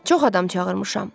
Çox adam çağırmışam.